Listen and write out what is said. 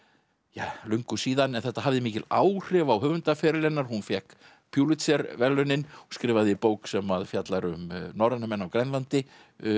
ja löngu síðan en þetta hafði mikil áhrif á höfundarferil hennar hún fékk verðlaunin og skrifaði bók sem fjallar um norræna menn á Grænlandi